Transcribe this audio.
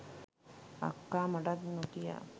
අක්කා මටත් නොකියා